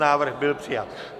Návrh byl přijat.